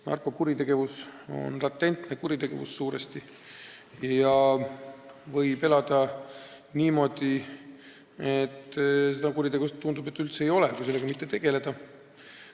Narkokuritegevus on suuresti latentne kuritegevus ja kui selle teemaga mitte tegelda, siis võib elada niimoodi, et tundub, nagu neid kuritegusid üldse ei oleks.